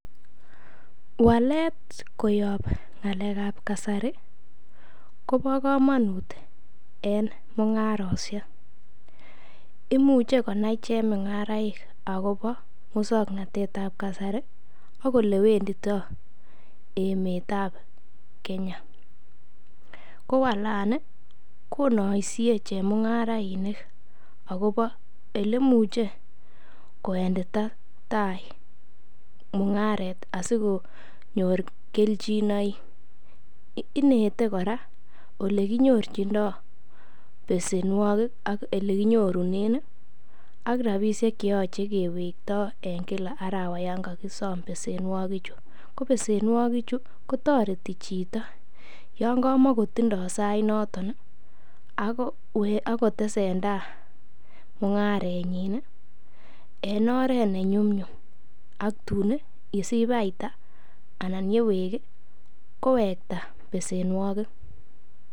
Walet koyob ng'alekab kasari kobo komonut en mungarosiek, imuche knai chemung'araik agobo muswoknatet ab kasari ak ole wendito emet ab Kenya ko walani konoisie chemung'arainik agobo ele imuche kowendita tai mung'aret asikonyor kelchinoik inete kora ole kinyorchindo besenwogik ak ole kinyorunen ak rabishek che yoche kewekto en kila arawa yon kogisom besenwogichu. Ko besenwogichu kotoreti chiito yon kamakotindo sainoto ak kotesen tai mung'arenyin en oret ne nyumnyum aktun yesich faida anan yewek kowekta besenwokik.